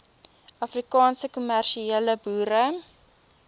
afrikaanse kommersiële boere